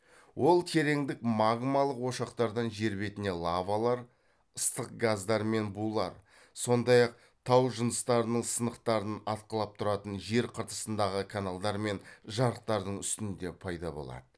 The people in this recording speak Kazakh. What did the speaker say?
ол терендік магмалық ошақтардан жер бетіне лавалар ыстық газдар мен булар сондай ақ тау жыныстарының сынықтарын атқылап тұратын жер қыртысындағы каналдар мен жарықтардың үстінде пайда болады